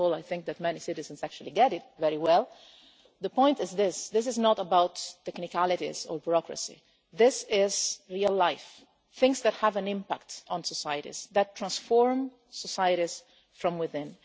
I think that many citizens actually get it very well, but the point is that this is not about technicalities or bureaucracy. This is real life things that have an impact on societies that transform societies from within.